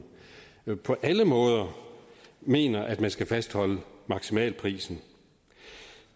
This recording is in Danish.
på alle måder mener at man skal fastholde maksimalprisen